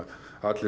allir